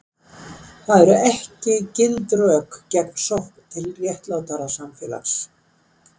En það eru ekki gild rök gegn sókn til réttlátara samfélags.